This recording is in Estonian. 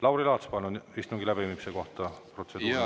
Lauri Laats, palun, istungi läbiviimise kohta protseduuriline küsimus.